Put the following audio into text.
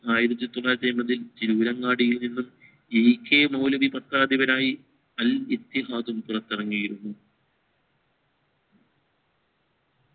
ആയിരത്തി തൊള്ളായിരത്തി അമ്പതിൽ തിരൂരങ്ങാടിയിൽ നിന്നും E. K മൗലവി പത്രാധിപനായി അൽ ഇത്തിഹാദുൻ പുറത്തിറങ്ങിരുന്നു